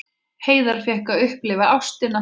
Hreiðar fékk að upplifa ástina.